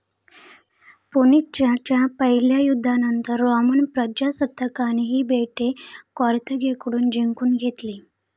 पुनिच्च्या पहिल्या युद्धानंतर रोमन प्रजासत्ताकाने ही बेटे कॅर्थागेकडून जिंकून घेतली.